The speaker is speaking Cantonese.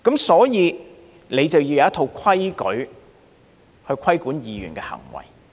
所以，便要有一套規矩去規管議員的行為。